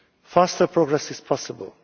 Faster progress is possible.